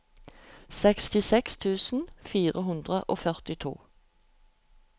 sekstiseks tusen fire hundre og førtito